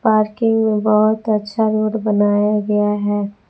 Parking में बहोत अच्छा रोड बनाया गया है।